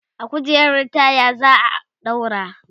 a kujerar taya zaa ɗaura ta